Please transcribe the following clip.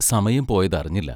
സമയം പോയതറിഞ്ഞില്ല.